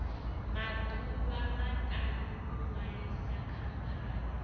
maḓuvha maṱanu u ṅwalisa khamphani